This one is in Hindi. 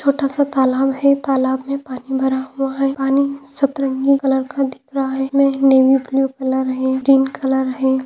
छोटा सा तालाब है तालाब मे पानी भरा हुवा है पानी सतरंगी कलर का दिख रहा है जिस मे नेवी ब्लू कलर है ग्रीन कलर है।